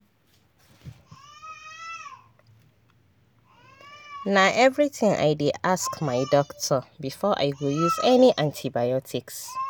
na everytime i dey ask my doctor before i go use any antibiotics